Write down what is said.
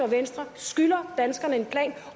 venstre skylder danskerne en plan